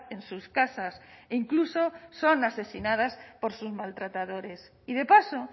en sus casas e incluso son asesinadas por sus maltratadores y de paso